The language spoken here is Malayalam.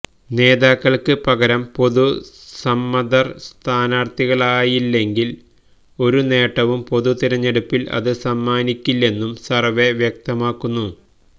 നേതാക്കൾക്ക് പകരം പൊതുസമ്മതർ സ്ഥാനാർത്ഥികളായില്ലെങ്കിൽ ഒരു നേട്ടവും പൊതു തിരഞ്ഞെടുപ്പിൽ അത് സമ്മാനിയ്ക്കില്ലെന്നും സർവ്വേ വ്യക്തമാക്കുന്നു